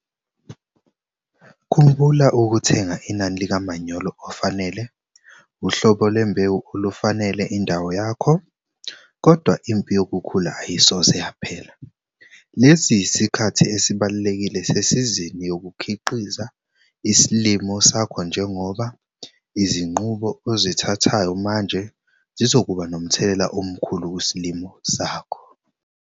Khumbula ukuthenga inani likamanyolo ofanele, uhlobo lwembewu olufanele indawo yakho, kodwa impi yokhula ayisoze yaphela. Lesi yisikhathi esibalulekile sesizini yokukhiqiza isilimo sakho njengoba izinqumo ozithathayo manje zizokuba nomthelela omkhulu kusilimo sakho.